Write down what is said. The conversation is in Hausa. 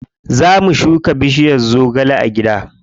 Za mu shuka bishiyar zogale a gida.